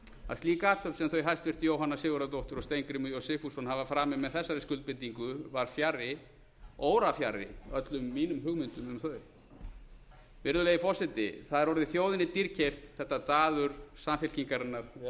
að slík athöfn sem þau hæstvirtur jóhanna sigurðardóttir og steingrímur j sigfússon hafa framið með þessari skuldbindingu var fjarri órafjarri öllum mínum hugmyndum um þau virðulegi forseti það er orðið þjóðinni dýrkeypt þetta daður samfylkingarinnar við